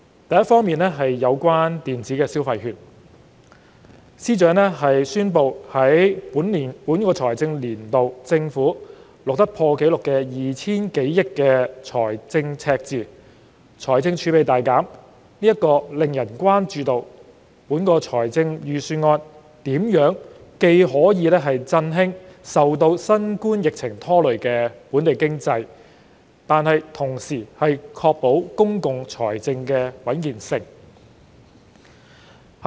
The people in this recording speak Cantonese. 第一，有關電子消費券，司長宣布政府在本財政年度錄得破紀錄的 2,000 多億元財政赤字，財政儲備大減，令人關注預算案如何既可振興受新冠疫情拖累的本地經濟，同時確保公共財政穩健。